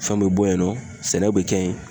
Fɛnw be bɔ yen nɔ ,sɛnɛw be kɛ yen.